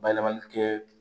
Bayɛlɛmani kɛ